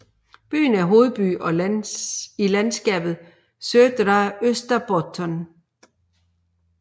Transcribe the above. Byen er hovedby i landskabet Södra Österbotten